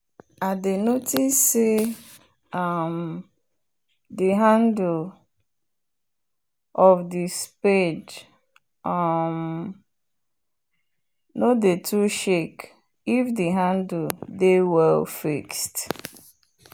i dey notice say um the handle of the spade um nor dey too shake if the handle dey well fixed